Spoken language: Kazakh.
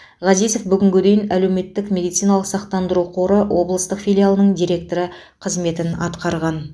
ғазизов бүгінге дейін әлеуметтік медициналық сақтандыру қоры облыстық филиалының директоры қызметін атқарған